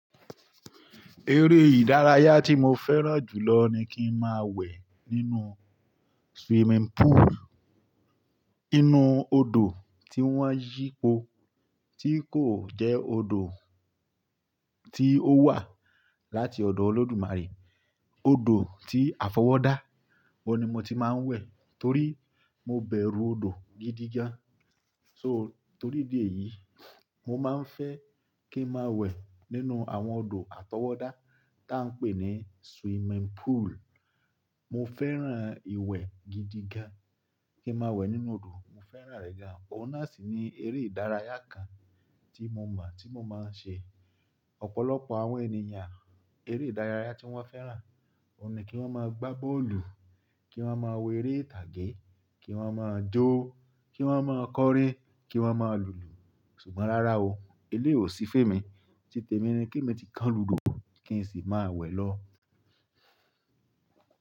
Eré ìdárayá tí mo fẹ́ràn jù lọ ni kí n máa wẹ̀ nínú swimming pool. Inú odò tí wọ́n yípo, tí kò jẹ́ odò tí ó wá láti ọ̀dọ̀ Olódùnmarè, odò tí a fọwọ́ dá. Ò n ni mo ti máa ń wẹ̀ torí mo bẹ̀rù odò gidi gan. So torí ìdí èyí, mo máa ń fẹ́ kí n máa wẹ̀ nínú àwọn odò àtọwọ́dá tí a ń pè ní swimming pool. Mo fẹ́ràn ìwẹ̀ gidi gan, kí n máa wẹ̀ nínú odò. Mo fẹ́ràn rẹ̀ gan. Ó n náà sì ni eré ìdárayá kan tí mo mọ̀, tí mo máa ń ṣe. Ọ̀pọ̀lọpọ̀ àwọn ènìyàn, eré ìdárayá tí wọ́n fẹ́ràn, ó n ni kí wọ́n máa gbá bọ́ọ̀lù, kí wọ́n máa wo eré ìtàgé, kí wọ́n máa jó, kí wọ́n máa kọrin, kí wọ́n máa lùlù. Ṣùgbọ́n rárá o, eléyìí ò sí fún èmi. Ti tèmi ni kí èmi ti kan ludò kí n sì máa wẹ̀ lọ.